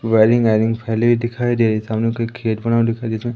wiring आयरिंग फैली हुई दिखाई दे रही सामने कोई खेत बना हुआ दिखा रहा है जिसमें--